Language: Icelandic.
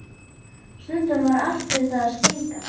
Stundum var allt við það að springa.